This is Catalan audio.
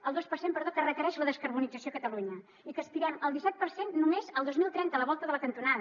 el dos per cent que requereix la descarbonització a catalunya i que aspirem al disset per cent només el dos mil trenta a la volta de la cantonada